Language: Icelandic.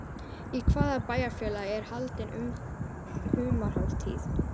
Í hvaða bæjarfélagi er haldin humarhátíð?